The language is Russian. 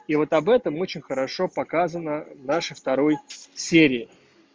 и вот об этом очень хорошо показана даше второй серии